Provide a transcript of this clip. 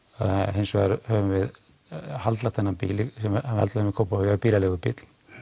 hins vegar höfum við haldlagt þennan bíl sem við haldlögðum í Kópavogi bílaleigubíl